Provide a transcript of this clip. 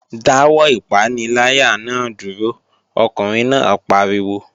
Dáwọ́ ìpaniláyà náà dúró! Ọkùnrin náà pariwo